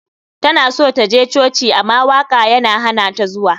Tana so ta je coci ama waka ya hanata zuwa.